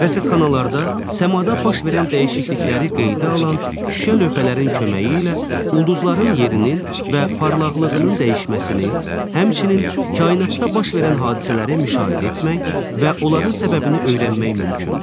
Rəsədxanalarda səmada baş verən dəyişiklikləri qeydə alan şüşə lövhələrin köməyi ilə ulduzların yerinin və parlaqlığının dəyişməsini, həmçinin kainatda baş verən hadisələri müşahidə etmək və onların səbəbini öyrənmək mümkündür.